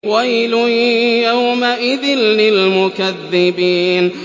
وَيْلٌ يَوْمَئِذٍ لِّلْمُكَذِّبِينَ